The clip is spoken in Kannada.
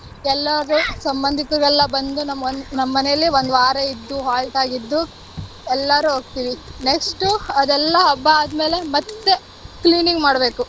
ಎಲ್ಲಾರು ಸಂಬಂಧಿಕರೆಲ್ಲಾ ಬಂದು ನಮ್ ಮನೇಲಿ ಒಂದ್ ವಾರ ಇದ್ದು halt ಆಗಿದ್ದು, ಎಲ್ಲರೂ ಹೋಗ್ತಿವಿ. next ಅದೆಲ್ಲಾ ಹಬ್ಬ ಆದ್ಮೇಲೆ ಮತ್ತೆ cleaning ಮಾಡ್ಬೇಕು.